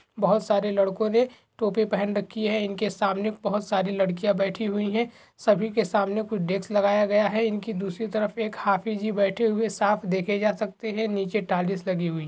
बहोत सारे लड़को ने टोपी पहन रखी है इनके सामने बहोत सारी लड़कियां बैठी हुई हैं सभी के सामने कुछ डेस्क लगाया गया है इनके दूसरी तरफ सामने एक हाफी जी बेठे हैं साफ़ देखे जा सकते है नीचे टाइल्स लगी हुई हैं ।